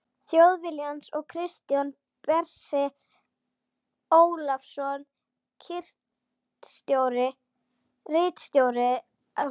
Þjóðviljans og Kristján Bersi Ólafsson ritstjóri Alþýðublaðsins.